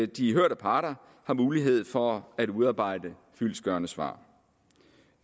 de hørte parter har mulighed for at udarbejde fyldestgørende svar